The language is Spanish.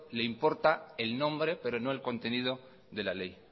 le importa el nombre pero no el contenido de la ley